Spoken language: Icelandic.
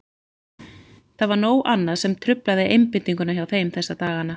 Það var nóg annað sem truflaði einbeitinguna hjá þeim þessa dagana.